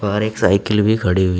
बाहर एक साइकिल भी खड़ी हुई--